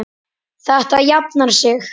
Þetta jafnar sig.